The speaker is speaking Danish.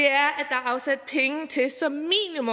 er afsat penge til som